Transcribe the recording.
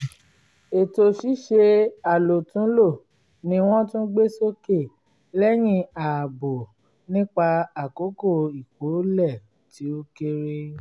ètò ṣíṣe àlòtúnlò ni wọ́n tún gbé sókè lẹ́yìn àbọ̀ nípa àkókò ìkólẹ̀ tí ó kéré